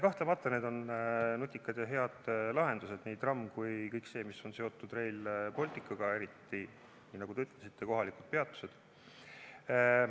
Kahtlemata need on nutikad ja head lahendused, nii tramm kui ka kõik see, mis on seotud Rail Balticuga, eriti, nagu te ütlesite, kohalikud peatused.